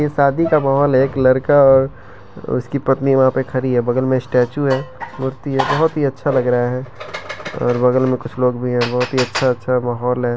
ये शादी का माहोल है एक लड़का है और उसकी पत्नी वहां पे खड़ी है बगल में स्टैच्यू है मूर्ति है बहुत ही अच्छा लग रहा है और बगल में कुछ लोग भी हैं बहुत ही अच्छा अच्छा माहौल है।